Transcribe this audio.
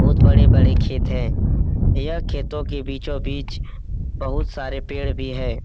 बहुत बड़े-बड़े खेत हैं | यह खेतों के बीचों बिच बहुत सारे पेड़ भी हैं |